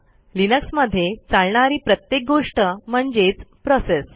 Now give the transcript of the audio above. लिनक्समध्ये चालणारी प्रत्येक गोष्ट म्हणजेच प्रोसेस